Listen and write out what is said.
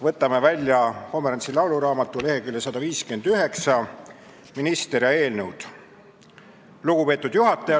Võtame välja Pomerantsi lauluraamatu, lehekülg 159, "Minister ja eelnõud": ""Lugupeetud juhataja!